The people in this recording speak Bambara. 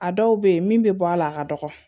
A dɔw bɛ yen min bɛ bɔ a la a ka dɔgɔ